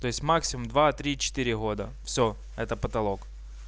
то есть максимум два три четыре года всё это потолок